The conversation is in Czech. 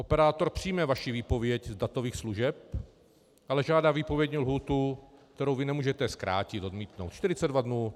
Operátor přijme vaši výpověď z datových služeb, ale žádá výpovědní lhůtu, kterou vy nemůžete zkrátit, odmítnout - 42 dnů.